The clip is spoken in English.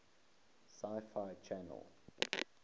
sci fi channel